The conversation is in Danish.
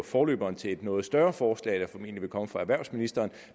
forløberen til et noget større forslag der formentlig vil komme fra erhvervsministeren